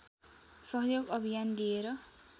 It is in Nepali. सहयोग अभियान लिएर